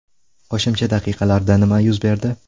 Qo‘shimcha daqiqalarda nima yuz berdi?